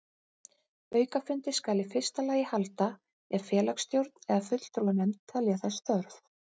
Aukafundi skal í fyrsta lagi halda ef félagsstjórn eða fulltrúanefnd telja þess þörf.